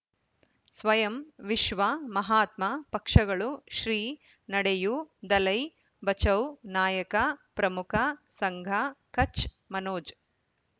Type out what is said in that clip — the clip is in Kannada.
ಸ್ವಯಂ ವಿಶ್ವ ಮಹಾತ್ಮ ಪಕ್ಷಗಳು ಶ್ರೀ ನಡೆಯೂ ದಲೈ ಬಚೌ ನಾಯಕ ಪ್ರಮುಖ ಸಂಘ ಕಚ್ ಮನೋಜ್